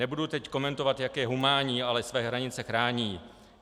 Nebudu teď komentovat, jak je humánní, ale své hranice chrání.